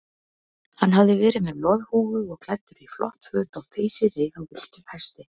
Hann hafði verið með loðhúfu og klæddur í flott föt á þeysireið á villtum hesti.